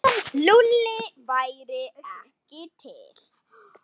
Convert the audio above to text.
Lúlli væri ekki til.